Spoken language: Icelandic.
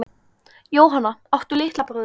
Jóhann: Áttu litla bróðir?